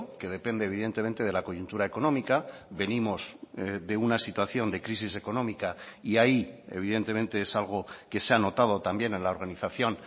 que depende evidentemente de la coyuntura económica venimos de una situación de crisis económica y ahí evidentemente es algo que se ha notado también en la organización